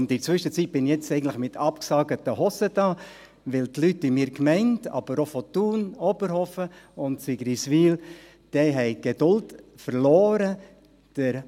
Und in der Zwischenzweit stehe ich jetzt eigentlich mit abgesägten Hosen da, weil die Leute in meiner Gemeinde, aber auch aus Thun, Oberhofen und Sigriswil, die Geduld verloren haben.